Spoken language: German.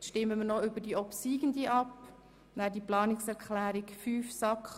Nun stimmen wir noch über die obsiegende Planungserklärung 5 der SAK ab.